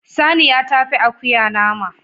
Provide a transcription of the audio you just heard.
Saniya tafi akuya nama